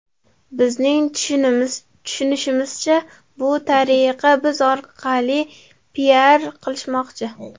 Bizning tushunishimizcha, shu tariqa biz orqali ‘piar’ qilishmoqchi.